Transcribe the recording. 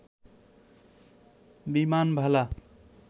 বিমানবালা